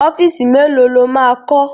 Ọ́fíìsì mélòó lo máa kọ́?